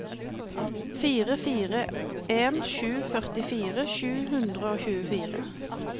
fire fire en sju førtifire sju hundre og tjuefire